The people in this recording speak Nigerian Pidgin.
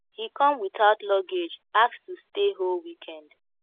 he come without luggage ask to stay whole weekend